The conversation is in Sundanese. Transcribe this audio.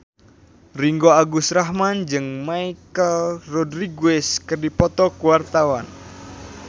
Ringgo Agus Rahman jeung Michelle Rodriguez keur dipoto ku wartawan